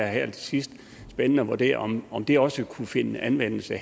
her til sidst at vurdere om om det også kunne finde anvendelse